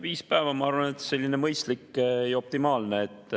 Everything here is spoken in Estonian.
Viis päeva, ma arvan, on mõistlik ja optimaalne.